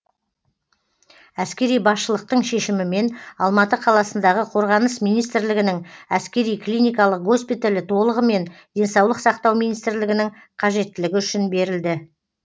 әскери басшылықтың шешімімен алматы қаласындағы қорғаныс министрлігінің әскери клиникалық госпиталі толығымен денсаулық сақтау министрлігінің қажеттілігі үшін берілді